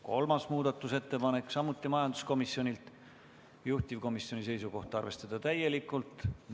Kolmas muudatusettepanek on samuti majanduskomisjonilt, juhtivkomisjoni seisukoht on arvestada seda täielikult.